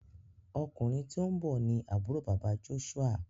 Ọkùnrin tíó nbó ní Àbúrò bàbá Joshua.